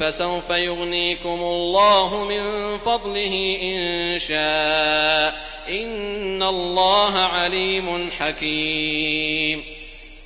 فَسَوْفَ يُغْنِيكُمُ اللَّهُ مِن فَضْلِهِ إِن شَاءَ ۚ إِنَّ اللَّهَ عَلِيمٌ حَكِيمٌ